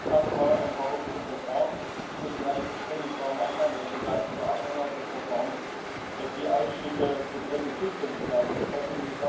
Erst einmal ein paar Worte zum Verfahren Ich muss Ihnen ehrlich gestehen, ich war am Anfang ein begeisterter Anhänger des Verfahrens, dass die Ausschüsse getrennte Zuständigkeiten bekommen.